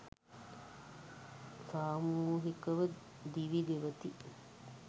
සාමූහිකව දිවි ගෙවති.